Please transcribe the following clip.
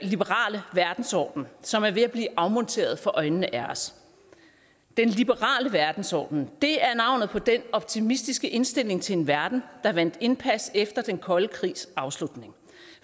liberale verdensorden som er ved at blive afmonteret for øjnene af os den liberale verdensorden er navnet på den optimistiske indstilling til en verden der vandt indpas efter den kolde krigs afslutning